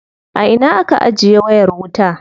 A ina aka ajiye wayar wuta.